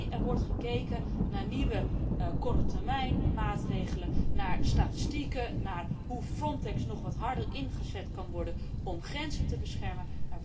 Neen, er wordt gekeken naar nieuwe kortetermijnmaatregelen, naar statistieken, naar hoe FRONTEX nog wat harder kan worden ingezet om grenzen te beschermen.